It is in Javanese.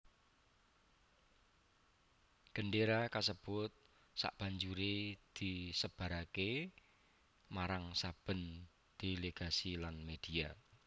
Gendéra kasebut sabanjuré disebaraké marang saben delegasi lan media